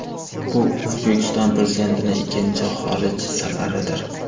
Bu O‘zbekiston Prezidentining ikkinchi xorij safaridir.